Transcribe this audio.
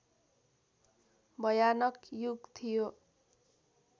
भयानक युग थियो